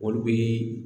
Olu bɛ